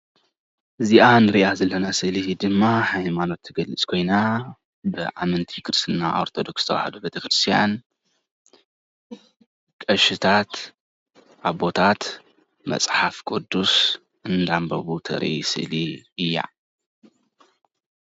እዚኣ ንሪኣ ዘለና ስእሊ ድማ ሃይማኖት ትገልፅ ኮይና ብኣመንቲ ክርስትና ኦርቶዶክስ ተዋህዶ ቤተክርስትያን ቀሽታት፣ አቦታት፣ መፅሓፍ ቅዱስ እናንበቡ ተርኢ ስእሊ እያ፡፡